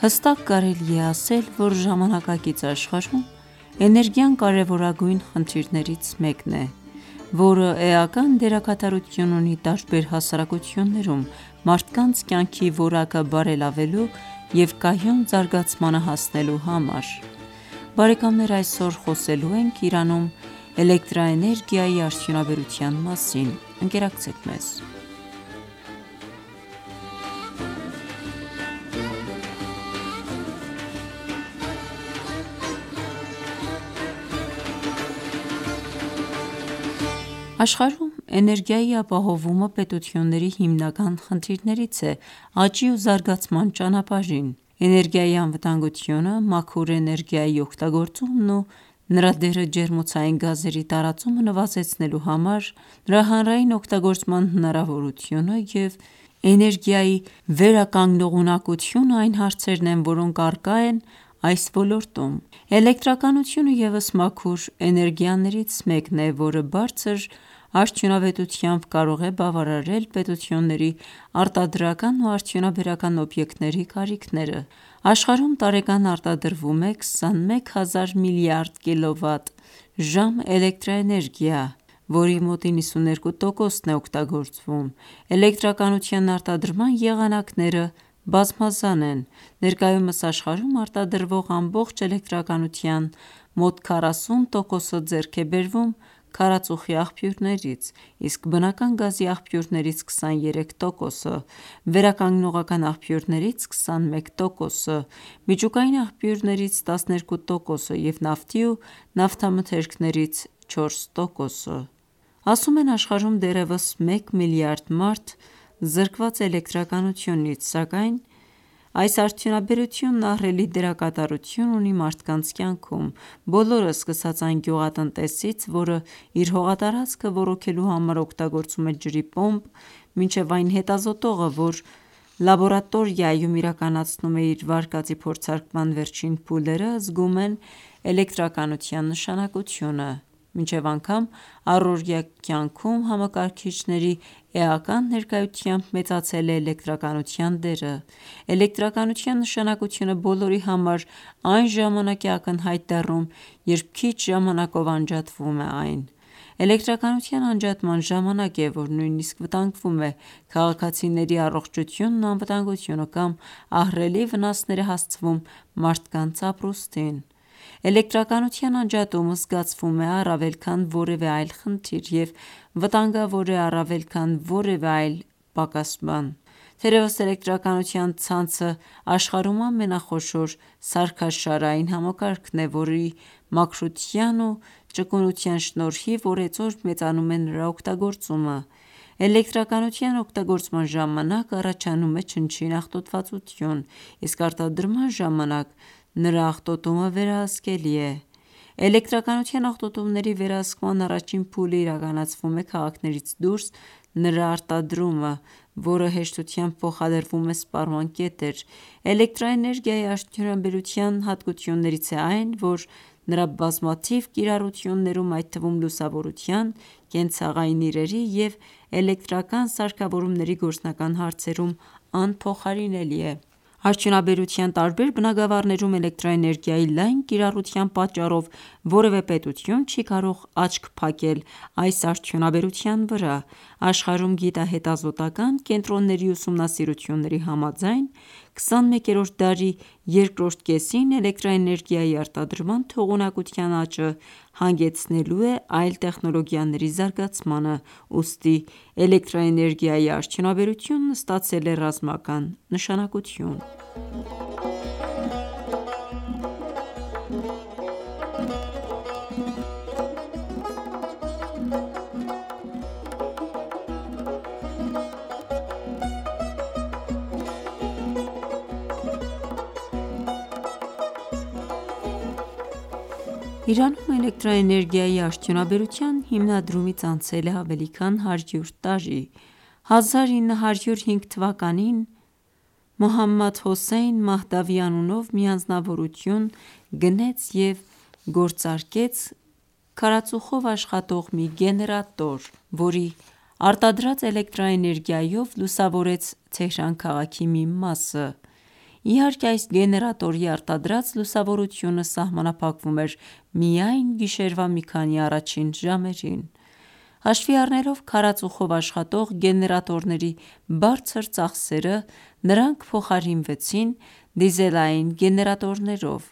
Հստակ կարելի է ասել, որ ժամանակակից աշխարհում էներգիան կարևորագույն խնդիրներից մեկն է, որը էական դերակատարություն ունի տարբեր հասարակություններում մարդկանց կյանքի որակը բարելավելու և կայուն զարգացմանը հասնելու համար: Աշխարհում Էներգիայի ապահովումը պետությունների հիմնական խնդիրներից է աճի ու զարգացման ճանապարհին: Էներգիայի անվտանգությունը, մաքուր էներգիայի օգտագործումն ու նրա դերը ջերմոցային գազերի տարածումը նվազեցնելու համար, նրա հանրային օգտագործման հնարավորությունը և էներգիայի վերականգնողականությունը այն հարցերն են, որոնք առկա են այս ոլորտում: Էլեկտրականությունը ևս մաքուր էներգիաներից մեկն է, որը բարձր արդյունավետությամբ կարող է բավարարել պետությունների արտադրական ու արդյունաբերական օբյեկտների կարիքները: Աշխարհում տարեկան արտադրվում է 21000 միլիարդ կՎտ. ժամ էլեկտրաէներգիա, որի մոտ 92 տոկոսն է օգտագործվում: Էլեկտրականության արտադրման եղանակները բազմազան են: Ներկայումս աշխարհում արտադրվող ամբողջ էլեկտրականության մոտ 40 տոկոսը ձեռք է բերվում քարածուխի աղբյուրներից, իսկ բնական գազի աղբյուրներից՝ 23 տոկոսը, վերականգնողական աղբյուրներից՝ 21 տոկոսը, միջուկային աղբյուրներից՝ 12 տոկոսը և նավթի ու նավթամթերքներից՝ 4 տոկոսը: Ասում են, աշխարհում դեռևս մեկ միլիարդ մարդ զրկված է էլեկտրականությունից, սակայն այս արդյունաբերությունը ահռելի դերակատարություն ունի մարդկանց կյանքում: Բոլորը՝ սկսած այն գյուղատնտեսից, որը իր հողատարածքը ոռոգելու համար օգտագործում է ջրի պոմպ, մինչև այն հետազոտողը, որը լաբորատորիայում իրականացնում է իր վարկածի փորձարկման վերջին փուլերը, զգում են էլեկտրականության նշանակությունը: Մինչև անգամ առօրյա կյանքում համակարգիչների էական ներկայությամբ մեծացել է էլեկտրականության դերը: Էլեկտրականության նշանակությունը բոլորի համար այն ժամանակ է աակնհայտ դառնում, երբ քիչ ժամանակով անջատվում է այն: Էլեկտրականության անջատման ժամանակ է, որ նույնիսկ վտանգվում է քաղաքացիների առողջությունն ու անվտանգությունը կամ ահռելի վնասներ է հասցվում մարդկանց ապրուստին: Էլեկտրականության անջատումը զգացվում է առավել քան որևէ այլ խնդիր և վտանգավոր է առավել քան որևէ այլ պակաս բան: Թերևս էլեկտրականության ցանցը աշխարհում ամենախոշոր սարքաշարային համակարգն է, որի մաքրության ու ճկունության շնորհիվ, օրեցօր մեծանում է նրա օգտագործումը: Էլեկտրականության օգտագործման ժամանակ առաջանում է չնչին աղտոտվածություն, իսկ արտադրման ժամանակ նրա աղտոտումը վերահսկելի է: Էլեկտրականության աղտոտումների վերահսկման առաջին փուլն իրականացվում է քաղաքներից դուրս նրա արտադրումը, որը հեշտությամբ փոխադրվում է սպառման կետեր: Էլեկտրաէներգիայի արդյունաբերության հատկություններից է այն, որ նրա բազմաթիվ կիրառություներում, այդ թվում լուսավորության, կենցաղային իրերի և էլեկտրական սարքավորումների գործարկման հարցերում անփոխարինելի է: Արդյունաբերության տարբեր բնագավառներում էլեկտրաէներգիայի լայն կիրառության պատճառով որևէ պետություն չի կարող աչք փակել այս արդյունաբերության վրա: Աշխարհում գիտահետազոտական կենտրոնների ուսումնասիրությունների համաձայն, 21-րդ դարի երկրորդ կեսին էլեկտրաէներգիայի արտադրման թողունակության աճը հանգեցնելու է այլ տեխնոլոգիաների զարգացմանը, ուստի էլեկտրաէներգիայի արդյունաբերությունը ստացել է ռազմական նշանակություն: Իրանում էլեկտրաէներգիայի արդյունաբերության հիմնադրումից անցել է ավելի քան 100 տարի: 1905թ. Մոհամմադհոսսեյն Մահդավի (Ամին Ալզարբ) անունով մի անձնավորություն գնեց և գործարկեց քարածուխով աշխատող մի գեներատոր, որի արտադրած էնելտրաէներգիայով լուսավորեց Թեհրան քաղաքի մի մասը: Իհարկե այս գեներատորի արտադրած լուսավորությունը սահմանափակվում էր միայն գիշերվա մի քանի առաջին ժամերին: Հաշվի առնելով քարածուխով աշխատող գեներատորների բարձր ծախսերը, նրանք փոխարինվեցին դիզելային գեներատորներով: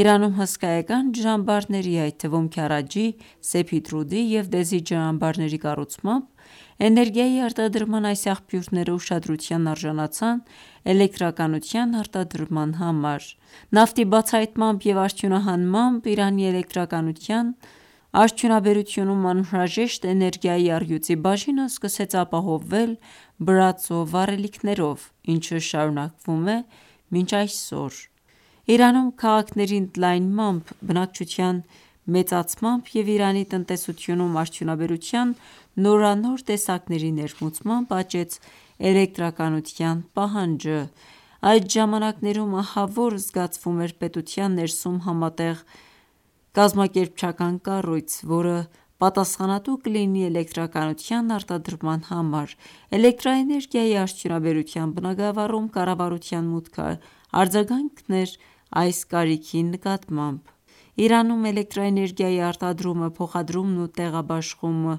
Իրանում հսկայական ջրամբարների, այդ թվում Քարաջի, Սեփիդռուդի և Դեզի ջրամբարների կառուցմամբ էներգիայի արտադրման այս աղբյուրները ուշադրության արժանացան էլեկտրականության արտադրման համար: Նավթի բացահայտմամբ և արդյունահանմամբ, Իրանի էլեկտրականության արդյունաբերությունում անհրաժեշտ էներգիայի առյուծի բաժինը սկսեց ապահովվել բրածո վառելիքներով, ինչը շարունակվում է մինչ այսօր: Իրանում քաղաքների ընդլայնմամբ, բնակչության մեծացմամբ և Իրանի տնտեսությունում արդյունաբերության նորանոր տեսակների ներմուծմամբ, աճեց էլեկտրականության պահանջարկը: Այդ ժամանակներում ահավոր զգացվում էր պետության ներսում համատեղ կազմակերպչական կառույց, որը պատասխանատու կլինի էլեկտրականության արտադրման համար: Էլեկտրաէներգիայի արդյունաբերության բնագավառում կառավարության մուտքը արձագանք էր այս կարիքի նկատմամբ: Իրանում Էլեկտրաէներգիայի արտադրումը, փոխադրումն ու տեղաբաշխումը,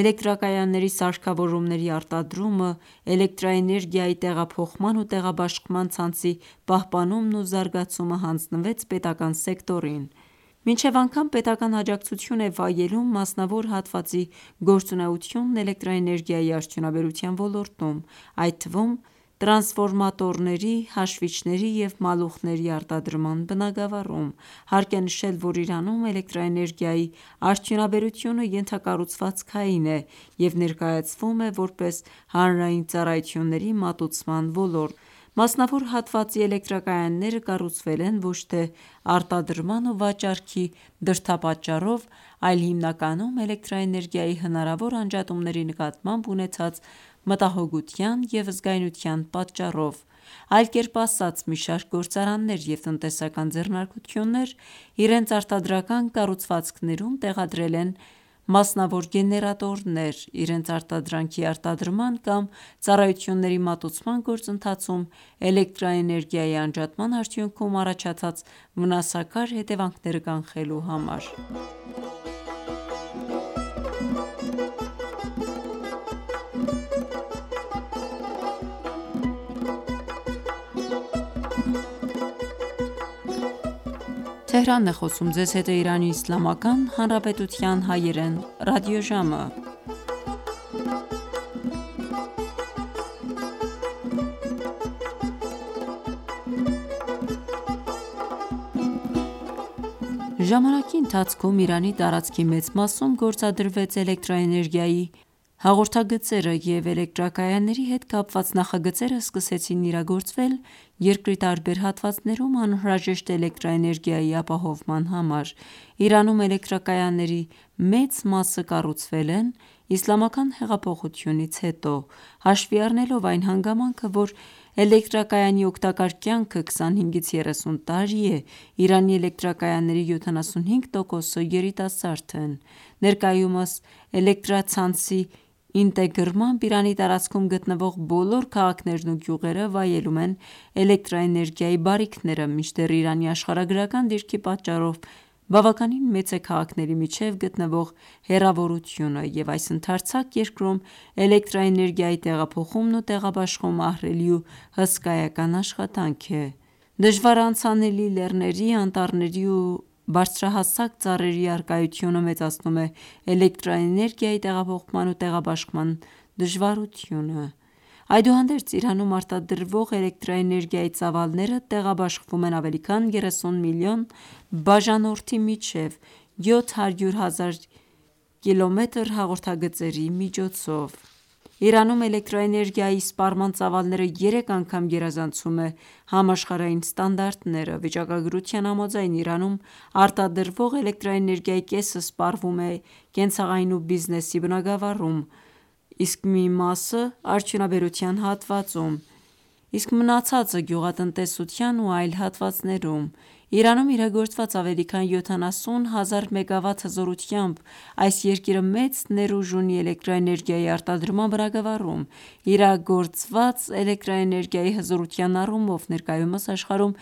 էլեկտրակայանների սարքավորումների արտադրումը, էլեկտրաէներգիայի տեղափոխման ու տեղաբաշխման ցանցի պահպանումն ու զարգացումը հանձնվեց պետական սեկտորին: Մինչև անգամ պետական աջակցություն է վայելում մասնավոր հատվածի գործունեությունը էլեկտրաէներգիայի արդյունաբերության ոլորտում, այդ թվում տրանսֆորմատորների, հաշվիչների և մալուխների արտադրման բնագավառում: Հարկ է նշել, որ Իրանում էլեկտրաէներգիայի արդյունաբերությունը ենթակառուցվածքային է և ներկայացվում է որպես հանրային ծառայությունների մատուցման ոլորտ: Մասնավոր հատվածի էլեկտրակայանները կառուցվել են ոչ թե արտադրման ու վաճառքի դրդապատճառով, այլ հիմնականում էլեկտրաէներգիայի հնարավոր անջատումների նկատմամբ ունեցած մտահոգության և զգայունության պատճառով: Այլ կերպ ասած, մի շարք գործարաններ և տնտեսական ձեռնարկություններ իրենց արտադրական կառուղցվածքում տեղադրել են մասնավոր գեներատորներ՝ իրենց արտադրանքի արտադրման կամ ծառայությունների մատուցման գործընթացում էլեկտրաէներգիայի անջատման արդյունքում առաջացած վնասակար հետևանքները կանխելու համար: Ժամանակի ընթացքում Իրանի տարածքի մեծ մասում գործադրվեց էլեկտրաէներգիայի հաղորդագծերը և էլեկտրակայանանների հետ կապված նախագծերը սկսեցին իրագործվել երկրի տարբեր հատվածներում անհրաժեշտ էլեկտրաէներգիայի ապահովման համար: Իրանում էլեկտրակայանների մեծ մասը կառուցվել են Իսլամական Հեղափոխությունից հետո: Հաշվի առնելով այն հանգամանքը, որ էլեկտրակայանի օգտակար կյանքը 25-30 տարի է, Իրանի էլեկտրակայանների 75 տոկոսը «երիտասարդ» են: Ներկայումս էլեկտրացանցի ինտեգրմամբ Իրանի տարածքում գտնվող բոլոր քաղաքներն ու գյուղերը վայելում են էլեկտրաէներգիայի բարիքները, մինչդեռ Իրանի աշխարհագրական դիրքի պատճառով բավականին մեծ է քաղաքների միջև գտնվող հեռավորությունը և այս ընդարձակ երկրում էլեկտրաէներգիայի տեղափոխումն ու տեղաբաշխումը ահռելի ու հսկայական աշխատանք է: Դժվար անցանելի լեռների, անտառների ու բարձրահասակ ծառերի առկայությունը մեծացնում է էլեկտրաէներգիայի տեղափոխման ու տեղաբաշխման դժվարությունը: Այդուհանդերձ Իրանում արտադրվող էլեկտրաէներգիայի ծավալները տեղաբաշխվում են ավելի քան 30 միլիոն բաժանորդի միջև՝ 700 հազար Կմ հաղորդագծերի միջոցով: Իրանում էլեկտրաէներգիայի սպառման ծավալները երեք անգամ գերազանցում է համաշխարհային ստանդարտները: Վիճակագրության համաձայն, Իրանում արտադրվող էլեկտրաէներգիայի կեսը սպառվում է կենցաղային ու բիզնեսի բնագավառում, մոտ փփ տոկոսը արդյունաբերության հատվածում, իսկ մնացածը գյուղատնտեսության ու այլ հատվածներում: Իրանում իրագործված ավելի քան 70 հազար մեգավատ հզորությամբ, այս երկիրը մեծ ներուժ ունի էլեկտրաէներգիայի արտադրման բնագավառում: Իրագործված էլեկտրաէներգիայի հզորության առումով, ներկայումս աշխարհում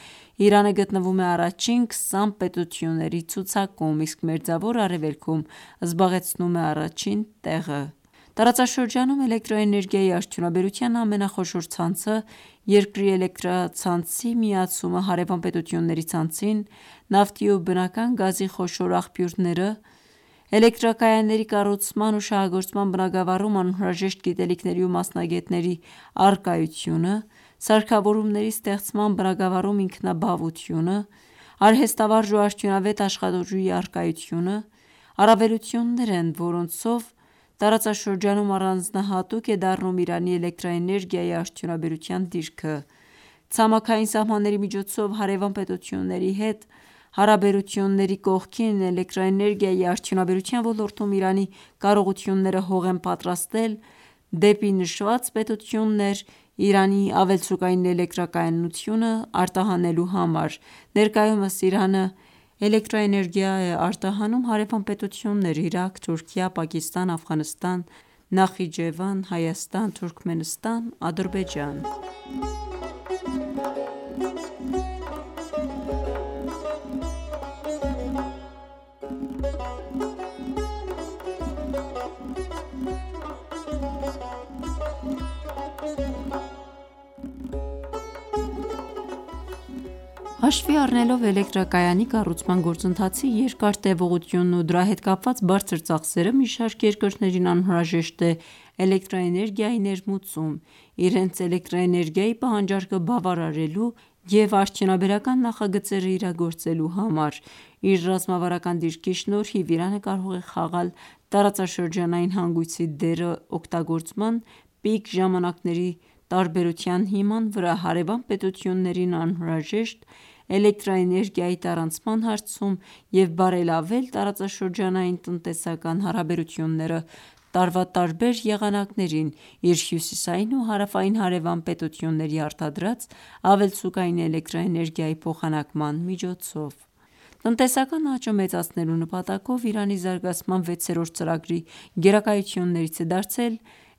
Իրանը գտնվում է առաջին 20 պետությունների ցուցակում, իսկ Մերձավոր Արևելքում զբաղեցնում է առաջին տեղը: Տարածաշրջանում էլեկտրաէներգիայի արդյունաբերության ամենախոշոր ցանցը, երկրի էլեկտրացանցի միացումը հարևան պետությունների ցանցին, նավթի ու բնական գազի խոշոր աղբյուրները, էլեկտրակայանների կառուցման ու շահագործման բնագավառում անհրաժեշտ գիտելիքների ու մասնագետների առկայությունը, սարքավորումների ստեղծման բնագավառում ինքնաբավությունը, արհեստավարժ ու արդյունավետ աշխատուժի առկայությունը առավելություններ են, որոնցով տարածաշրջանում առանձնահատուկ է դառնում Իրանի էլեկտրաէներգիայի արդյունաբերության դիրքը:Ցամաքային սահմանների միջոցով հարևան պետությունների հետ հարաբերությունների կողքին, էլեկտրաէներգիայի արդյունաբերության ոլորտում Իրանի կարողությունները հող են պատրաստել դեպի նշված պետություններ Իրանի ավելցուկային էլեկտրականությունը արտահանելու համար: Ներկայումս Իրանը էլեկտրաէներգիա է արտահանում հարևան պետություններ՝ Իրաք, Թուրքիա, Պակիստան, Աֆղանստան, Նախիջևանի Հանրապետություն, Հայաստան, Թուրքմենստան, Ադրբեջան: Հաշվի առնելով էլեկտրակայանի կառուցման գործընթացի երկար տևողությունն ու դրա հետ կապված բարձր ծախսերը, մի շարք երկրներին անհրաժեշտ է էլեկտրաէներգիայի ներմուծում՝ իրենց էլեկտրաէներգիայի պահանջարկը բավարարելու և արդյունաբերական նախագծերն իրագործելու համար: Իր ռազմավարական դիրքի շնորհիվ, Իրանը կարող է խաղալ տարածաշրջանային հանգույցի դերը օգտագործման պիկ ժամանակների տարբերության հիման վրա հարևան պետություններին անհրաժեշտ էլեկտրաէներգիայի տարանցման հարցում և բարելավել տարածաշրջանային տնտեսական հարաբերությունները տարվա տարբեր եղանակներին իր հյուսիսային ու հարավային հարևան պետությունների արտադրած ավելցուկային էլեկտրաէներգիայի փոխանակման միջոցով: Տնտեսական աճը մեծացնելու նպատակով, Իրանի զարգացման 6-րդ ծրագրի (2017-2021թթ.) գերակայություններից է դարձել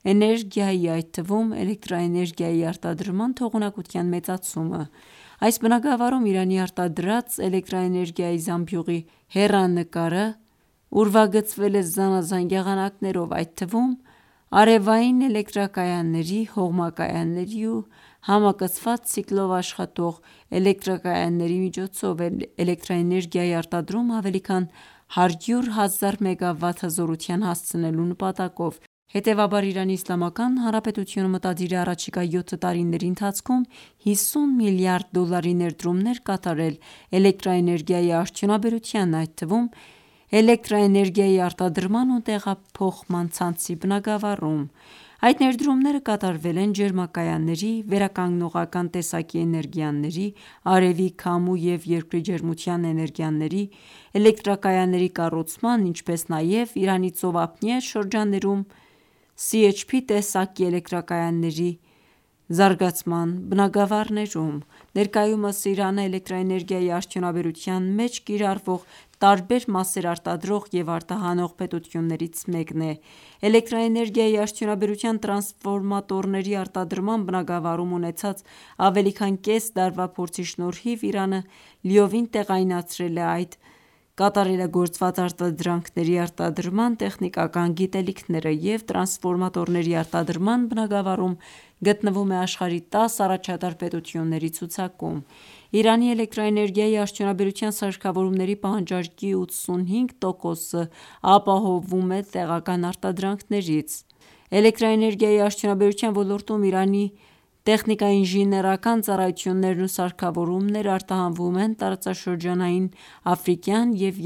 էներգիայի, այդ թվում էլեկտրաէներգիայի արտադրման թողունակության մեծացումը: Այս բնագավառում, Իրանի արտադրած էլեկտրաէներգիայի զամբյուղի հեռանկարը ուրվագծվել է զանազան եղանակներով, այդ թվում արևային էլեկտրակայանների, հողմակայանների ու համակցված ցիկլով աշխատող էլեկտրակայանների միջոցով էլեկտրաէներգիայի արտադրումն ավելի քան 100 հազար մեգավատ հզորության հասցնելու նպատակով:Հետևաբար, ԻԻՀ-ն մտադիր է առաջիկա 7 տարիների ընթացքում 50 միլիարդ դոլարի ներդրումներ կատարել էլեկտրաէներգիայի արդյունաբերության, այդ թվում էլեկտրաէներգիայի արտադրման ու տեղափոխման ցանցի բնագավառում: Այդ ներդրումները կատարվել են ջերմակայանների, վերականգնողական տեսակի էներգիաների (արևի, քամու և երկրի ջերմության էներգիաների) էլեկտրակայանների կառուցման, ինչպես նաև Իրանի ծովափնյա շրջաններում CHP տեսակի էլեկտրակայանների (էլեկտրաէներգիայի ու ջերմության միաժամանակ արտադրում) զարգացման բնագավառներում: Ներկայումս Իրանը էլեկտրաէներգիայի արդյունաբերության մեջ կիրառվող տարբեր մասեր արտադրող և արտահանող պետություններից մեկն է: էլեկտրաէներգիայի արդյունաբերության տրասֆորմատորների արտադրման բնագավառում ունեցած ավելի քան կես դարվա փորձի շնորհիվ Իրանը լիովին տեղայնացրել է այդ կատարելագործված արտադրանքների արտադրման տեխնիկական գիտելիքները և տրանսֆորմատորների արտադրման բնագավառում գտնվում է աշխարհի 10 առաջատար պետությունների ցուցակում: Իրանի էլեկտրաէներգիայի արդյունաբերության սարքավորումների պահանջարկի 85 տոկոսն ապահովվում է տեղական արտադրանքներից: Էլեկտրաէներգիայի արդյունաբերության ոլորտում Իրանի տեխնիկաինժինիերական ծառայություններն ու սարքավորումներն արտահանվում են տարածաշրջանային, աֆրիկական և